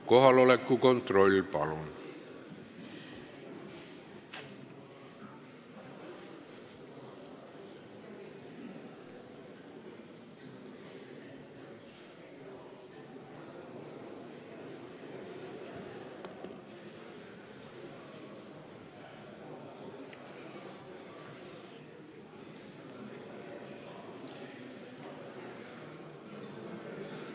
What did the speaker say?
Kohaloleku kontroll, palun!